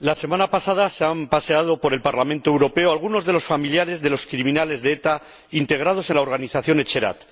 la semana pasada se han paseado por el Parlamento Europeo algunos de los familiares de los criminales de ETA integrados en la organización Etxerat.